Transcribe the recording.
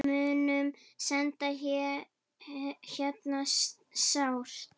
Við munum sakna hennar sárt.